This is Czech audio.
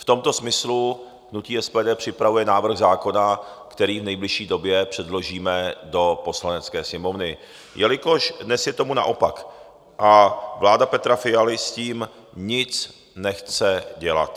V tomto smyslu hnutí SPD připravuje návrh zákona, který v nejbližší době předložíme do Poslanecké sněmovny, jelikož dnes je tomu naopak a vláda Petra Fialy s tím nic nechce dělat.